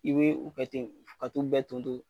I be u ke ten ka t'u bɛɛ ton ton